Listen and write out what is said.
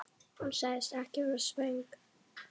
Hún sagðist ekki vera svöng.